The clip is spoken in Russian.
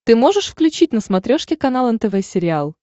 ты можешь включить на смотрешке канал нтв сериал